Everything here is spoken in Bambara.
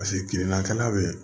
Paseke kirinakɛla be yen